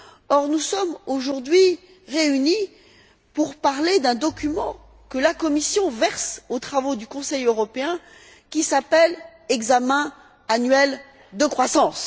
Or, nous sommes aujourd'hui réunis pour parler d'un document que la Commission verse aux travaux du Conseil européen, qui s'appelle examen annuel de croissance!